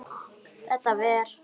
Þetta ver?